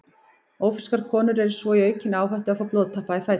Ófrískar konur eru svo í aukinni áhættu á að fá blóðtappa í fætur.